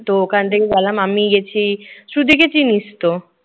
তো ওখানে থেকে গেলাম। আমি গেছি, সুজিকে চিনিস তো?